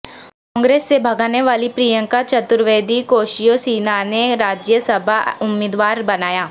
کانگریس سے بھاگنے والی پرینکا چترویدی کوشیوسینانے راجیہ سبھا امیدواربنایا